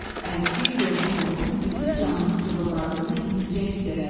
Əzgin, yorğun olduğunu, bütün canının sızıldadığını indicə hiss elədi.